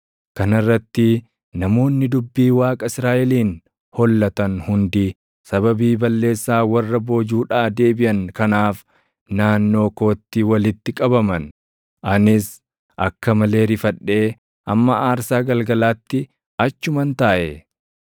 Kana irratti namoonni dubbii Waaqa Israaʼeliin hollatan hundi sababii balleessaa warra boojuudhaa deebiʼan kanaaf naannoo kootti walitti qabaman. Anis akka malee rifadhee hamma aarsaa galgalaatti achuman taaʼe.